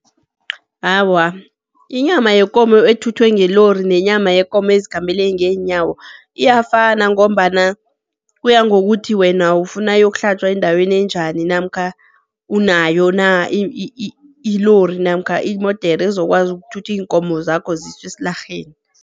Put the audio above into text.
Awa, inyama yekomo ethuthwe ngelori nenyama yekomo ezikhambale ngeenyawo iyafana, ngombana kuya ngokuthi wena ufuna iyokuhlatjwa endaweni enjani, namkha unayo na ilori, namkha imodere ezokwazi ukuthutha iinkomo zakho ziswe esilarheni.